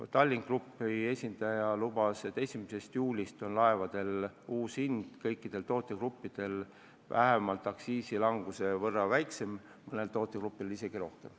Tallink Grupi esindaja lubas, et 1. juulist on laevadel hind kõikidel tootegruppidel madalam vähemalt aktsiisilanguse võrra, mõnel tootegrupil isegi rohkem.